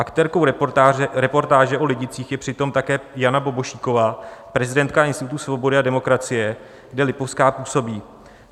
Aktérkou reportáže o Lidicích je přitom také Jana Bobošíková, prezidentka Institutu svobody a demokracie, kde Lipovská působí.